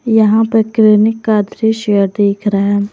यहां पर क्लीनिक का दृश्य दिख रहा है।